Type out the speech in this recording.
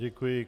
Děkuji.